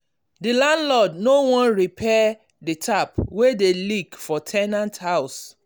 the landlord no wan repair the tap wey dey leak for ten ant house.